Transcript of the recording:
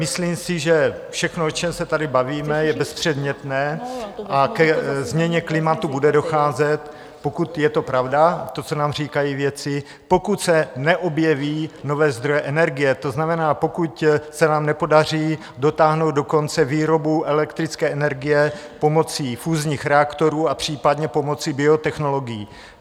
Myslím si, že všechno, o čem se tady bavíme, je bezpředmětné a ke změně klimatu bude docházet, pokud je to pravda, to, co nám říkají vědci, pokud se neobjeví nové zdroje energie, to znamená, pokud se nám nepodaří dotáhnout do konce výrobu elektrické energie pomocí fúzních reaktorů a případně pomocí biotechnologií.